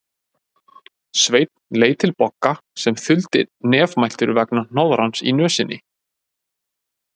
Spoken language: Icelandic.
Sveinn leit til Bogga sem þuldi nefmæltur vegna hnoðrans í nösinni